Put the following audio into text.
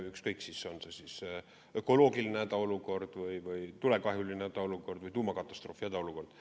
Ükskõik, on see ökoloogiline hädaolukord või tulekahjuline hädaolukord või tuumakatastroofi hädaolukord.